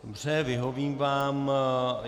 Dobře, vyhovím vám.